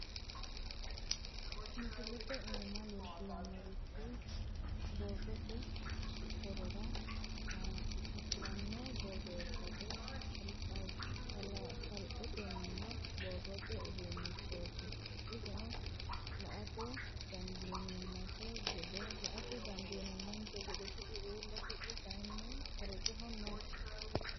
Misilete iima leellannorichi borrote horora hossanno borreessate kaalitanno borrote uduunnichooti insano la'ate dandiinummonte gede ti'i uulla ti'i kaaynni korojoho no.